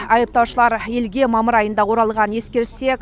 айыптаушылар елге мамыр айында оралғанын ескерсек